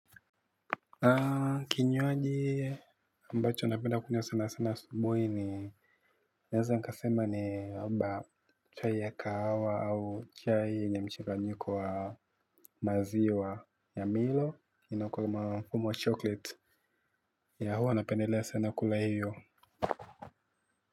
Kinywaji ambacho napenda kunywa sana sana asubuhi ni naweza nikasema ni labda chai ya kahawa au chai yenye mchanganyiko wa maziwa ya milo inakuwa na fumo wa chocolate yeah huwa napendelea sana kula hiyo.